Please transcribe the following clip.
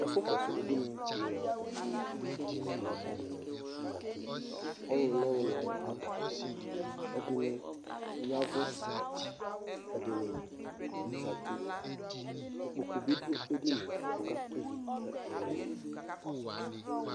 ɛƒʋ kɔsʋ ʋbʋini ni lantɛ kʋ ɛdini zati, ɔlʋ nɔlʋ nʋ ayʋ ada, ɛdini yavʋ, ɛdini zati, ikpɔkʋ bidʋ ɛdiniɛ kʋ aka tʋ ivi ka ɛdini